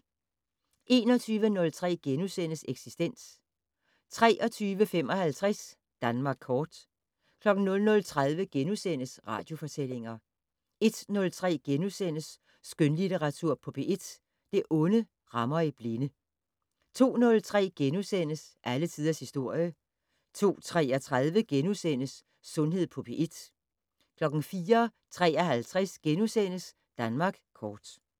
21:03: Eksistens * 23:55: Danmark kort 00:30: Radiofortællinger * 01:03: Skønlitteratur på P1 - Det onde rammer i blinde * 02:03: Alle tiders historie * 02:33: Sundhed på P1 * 04:53: Danmark kort *